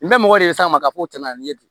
N bɛ mɔgɔ de sama ka fɔ tɛmɛna ni ye ten